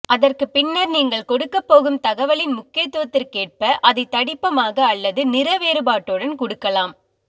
அதற்கு பின்னர் நீங்கள் கொடுக்கபோகும் தகவலின் முக்கியத்துவதிற்கு ஏற்ப அதை தடிப்பமாக அல்லது நிறவேறுபாட்டுடன் குடுக்கலாம்